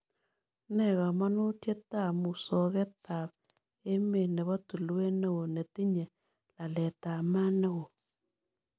Nee kamanutietap musogetap emet ne po tulwet ne oo netinye laletab mat ne oo